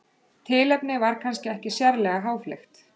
tilefnið var kannski ekki sérlega háfleygt